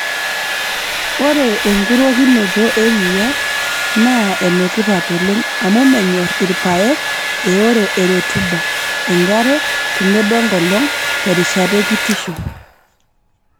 Ore enkurokinoto eriaa naa enetipat oleng amu menyorr ilpayek eoro e rutuba, enkare tenebo enkolong' terishata ekitisho.